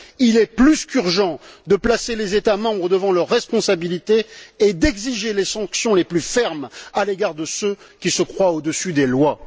Il est plus qu'urgent de placer les États membres devant leurs responsabilités et d'exiger les sanctions les plus fermes à l'égard de ceux qui se croient au dessus des lois.